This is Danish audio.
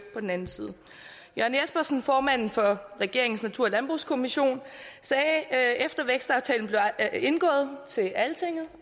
på den anden side jørn jespersen formanden for regeringens natur og landbrugskommission sagde efter at vækstaftalen blev indgået til altinget